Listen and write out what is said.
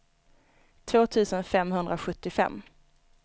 två tusen femhundrasjuttiofem